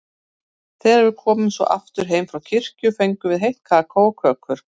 Þegar við komum svo aftur heim frá kirkju fengum við heitt kakó og kökur.